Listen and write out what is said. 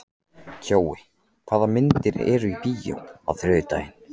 Kjói, hvaða myndir eru í bíó á þriðjudaginn?